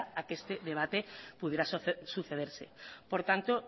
a que este debate pudiera sucederse por tanto